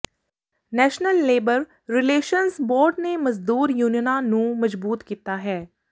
national labour relations board ਨੇ ਮਜ਼ਦੂਰ ਯੂਨੀਅਨਾਂ ਨੂੰ ਮਜਬੂਤ ਕੀਤਾ ਹੈ